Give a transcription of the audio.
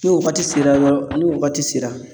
Ni waagati sera dɔrɔn ni waagati sera.